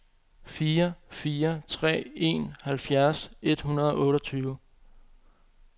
fire fire tre en halvfjerds et hundrede og otteogtyve